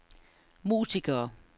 musikere